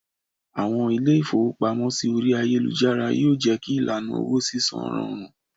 Àwọn ilé-ìfowópamọ́sí orí ayélujára yó jé kí ìlànà owó sísan rọrùn.